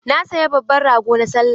Na saya babban rago na Sallah.